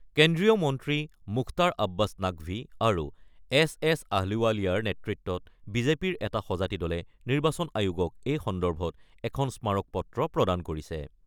কেন্দ্ৰীয় মন্ত্ৰী মুখতাৰ আববাছ নাকভী আৰু এছ এছ আহলুৱালিয়াৰ নেতৃত্বত বিজেপিৰ এটা সঁজাতি দলে নিৰ্বাচন আয়োগক এই সন্দৰ্ভত এখন স্মাৰক - পত্ৰ প্ৰদান কৰিছে।